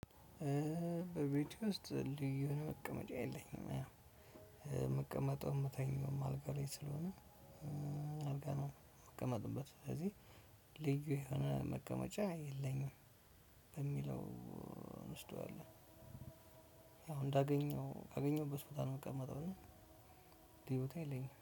በቤት ውስጥ ልዩን መቀመጫ የለኝም የምቀመጠው የምተኛው አልጋ ላይ ስለሆነ አልጋ ነው የምቀመጥበት ስለዚህ ልዩ የሆነ መቀመጫ የለኝም በሚለው እንወስደዋለን አሁን እንዳገኘው ካገኘሁበት ቦታ ነው የምቀመጠው እና ልዩ የለኝም።